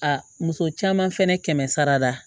A muso caman fɛnɛ kɛmɛ sara la